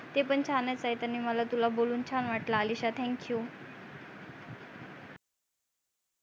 ते पण छानच आहे त्यांनी मला तुला बोलू छान वाटल अलिशा thank you